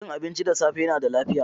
Cin abinci da safe yana da lafiya.